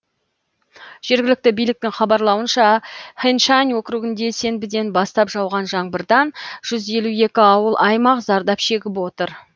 жергілікті биліктің хабарлауынша хэншань округінде сенбіден бастап жауған жаңбырдан жүз елу екі ауыл аймақ зардап шегіп отыр